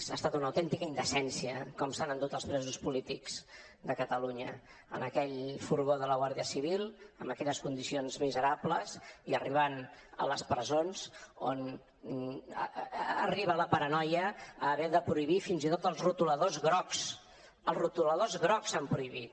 ha estat una autèntica indecència com s’han endut els presos polítics de catalunya en aquell furgó de la guàrdia civil amb aquelles condicions miserables i arribant a les presons on arriba la paranoia d’haver de prohibir fins i tot els retoladors grocs els retoladors grocs han prohibit